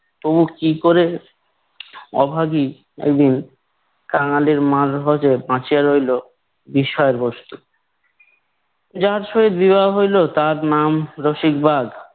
তো কি করে? অভাগী একদিন কাঙালির মারফতে বাঁচিয়া রইল বিস্ময়ের বস্তু। যাহার সহিত বিবাহ হইলো তাহার নাম রশিকবাঘ।